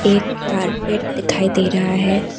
एक कारपेट दिखाई दे रहा है।